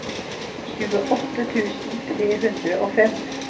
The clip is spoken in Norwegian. tjueåtte tusen tre hundre og fem